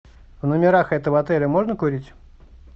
в номерах этого отеля можно курить